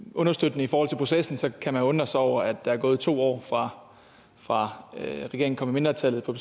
understøttende i forhold til processen så kan man undre sig over at der er gået to år fra fra regeringen kom i mindretal på